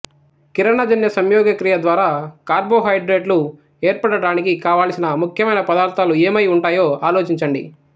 కిరణజన్యసంయోగక్రియ ద్వారా కార్బోహైడ్రేట్లు ఏర్పడడానికి కావలసిన ముఖ్యమైన పదార్థాలు ఏమై ఉంటాయో ఆలోచించండి